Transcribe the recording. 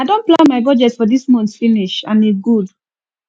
i don plan my budget for dis month finish and e good